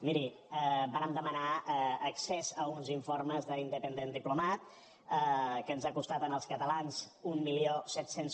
miri vàrem demanar accés a uns informes d’independent diplomat que ens han costat als catalans mil set cents